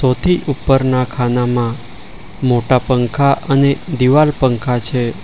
ઓથી ઉપરના ખાનામાં મોટા પંખા અને દિવાલ પંખા છે.